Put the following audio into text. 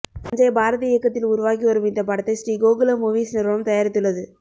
சஞ்சய் பாரதி இயக்கத்தில் உருவாகி வரும் இந்த படத்தை ஸ்ரீகோகுலம் மூவீஸ் நிறுவனம் தயாரித்துள்ளது